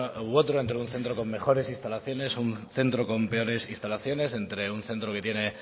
u otro entre un centro con mejores instalaciones o un centro con peores instalaciones entre un centro que tiene